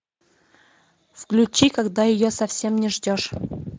включи когда ее совсем не ждешь